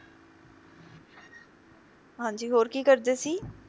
ਹਾਂਜੀ ਹੋਰ ਕੀ ਕਰਦੇ ਸੀ